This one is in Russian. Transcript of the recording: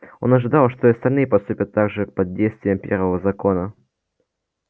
он ожидал что и остальные поступят так же под действием первого закона